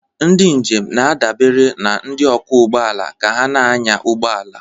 Ndị njem na-adabere na ndị ọkwọ ụgbọala ka ha na-anya ụgbọ ala.